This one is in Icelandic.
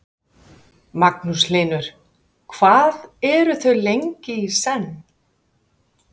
Magnús Hlynur: Hvað eru þau lengi í senn?